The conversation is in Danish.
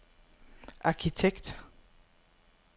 arkitekt